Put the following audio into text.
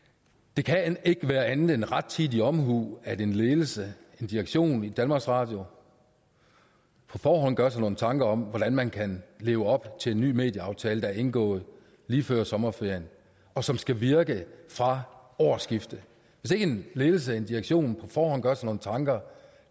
det kan ikke være andet end rettidig omhu at en ledelse en direktion i danmarks radio på forhånd gør sig nogle tanker om hvordan man kan leve op til den ny medieaftale der blev indgået lige før sommerferien og som skal virke fra årsskiftet hvis ikke en ledelse en direktion på forhånd gør sig nogle tanker og